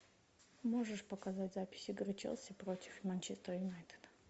можешь показать запись игры челси против манчестер юнайтед